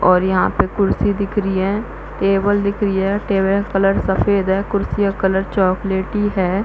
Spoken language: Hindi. और यहाँ पे कुर्सी दिख रही है टेबल दिख रही है टेबल का कलर सफ़ेद है कुर्सी का कलर चॉकलेटी है।